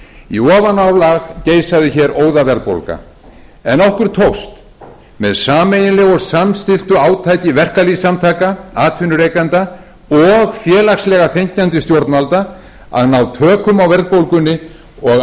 í ofanálag geisaði hér óðaverðbólga en okkur tókst með sameiginlegu og samstilltu átaki verkalýðssamtaka atvinnurekenda og félagslega þenkjandi stjórnvalda að ná tökum á verðbólgunni og